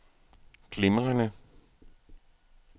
glimrende